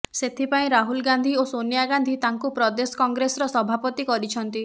ସେଥିପାଇଁ ରାହୁଲ ଗାନ୍ଧି ଓ ସୋନିଆ ଗାନ୍ଧି ତାଙ୍କୁ ପ୍ରଦେଶ କଂଗ୍ରେସର ସଭାପତି କରିଛନ୍ତି